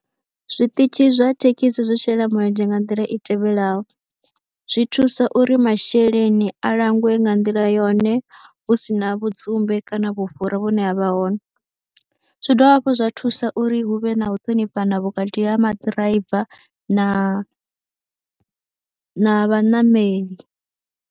Zwiṱitshi zwa thekhisi zwi shela mulenzhe nga nḓila i tevhelaho, zwi thusa uri masheleni a langwe nga nḓila yone hu si na vhudzumbe kana vhufhura vhune ha vha hone, zwi dovha hafhu zwa thusa uri hu vhe na u ṱhonifhana vhukati ha maḓiraiva na na vhaṋameli.